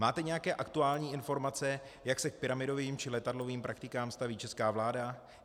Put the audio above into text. Máte nějaké aktuální informace, jak se k pyramidovým či letadlovým praktikám staví česká vláda?